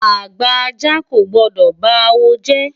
Àgbà ajá kò gbọ́dọ̀ ba awo jẹ́.